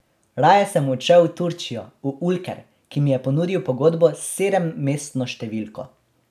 Raje sem odšel v Turčijo, v Ulker, ki mi je ponudil pogodbo s sedemmestno številko.